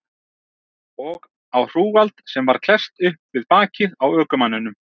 Og á hrúgald sem var klesst upp við bakið á ökumanninum.